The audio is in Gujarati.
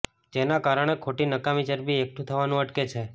જેના કારણે ખોટી નકામી ચરબી એકઠું થવાનું અટકે છે